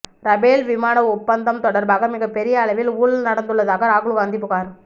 Rafale விமான ஒப்பந்தம் தொடர்பாக மிகப் பெரிய அளவில் ஊழல் நடந்துள்ளதாக ராகுல் காந்தி புகார்